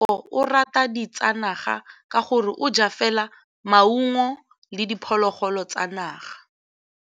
Tshekô o rata ditsanaga ka gore o ja fela maungo le diphologolo tsa naga.